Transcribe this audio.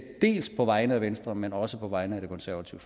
på vegne af venstre men også på vegne af det konservative